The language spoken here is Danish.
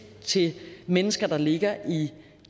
til mennesker der ligger i